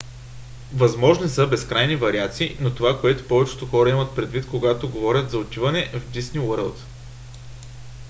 възможни са безкрайни вариации но това е което повечето хора имат предвид когато говорят за отиване в дисни уърлд